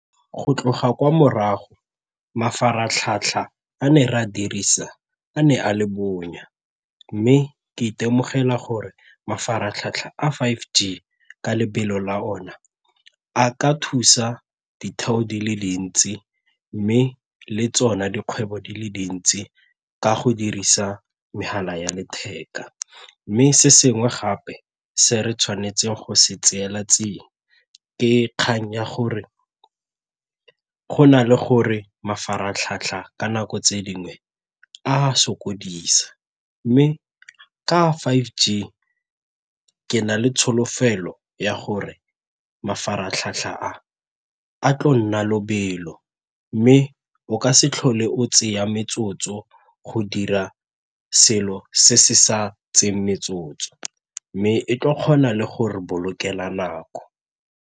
Go tloga kwa morago, mafaratlhatlha a ne re a dirisa a ne a le bonya mme ke itemogela gore mafaratlhatlha a five G ka lebelo la ona a ka thusa ditheo di le dintsi mme le tsona dikgwebo di le dintsi ka go dirisa megala ya letheka. Mme se sengwe gape se re tshwanetseng go se tseela tsia ke kgang ya gore go na le gore mafaratlhatlha ka nako tse dingwe a sokodisa mme ka five G ke na le tsholofelo ya gore mafaratlhatlha a a tlo nna lobelo mme o ka se tlhole o tseya metsotso go dira selo se se sa tseeng metsotso mme e tla kgona le go re bolokela nako.